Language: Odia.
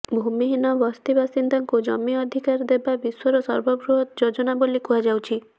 ଭୂମିହୀନ ବସ୍ତି ବାସିନ୍ଦାଙ୍କୁ ଜମି ଅଧିକାର ଦେବା ବିଶ୍ବର ସର୍ବବୃହତ୍ ଯୋଜନା ବୋଲି କୁହାଯାଉଛି